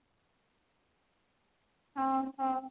ଓଃ ହୋ